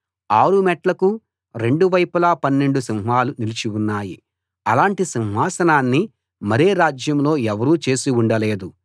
ఆరు మెట్లకూ రెండు వైపులా పన్నెండు సింహాలు నిలిచి ఉన్నాయి అలాటి సింహాసనాన్ని మరే రాజ్యంలో ఎవరూ చేసి ఉండలేదు